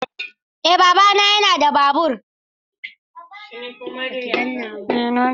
Eh na gyara fitilar.